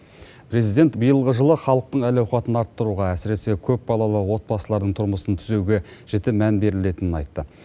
президент биылғы жылы халықтың әл ауқатын арттыруға әсіресе көпбалалы отбасылардың тұрмысын түзеуге жіті мән берілетінін айтты